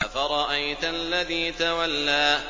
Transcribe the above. أَفَرَأَيْتَ الَّذِي تَوَلَّىٰ